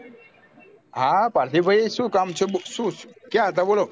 હા પાર્થિવ ભાઈ શું કામ છે શું ક્યાં હતા બોલો